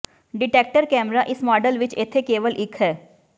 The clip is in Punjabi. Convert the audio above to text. ਡਿਟੈਕਟਰ ਕੈਮਰਾ ਇਸ ਮਾਡਲ ਵਿੱਚ ਇੱਥੇ ਕੇਵਲ ਇੱਕ ਹੈ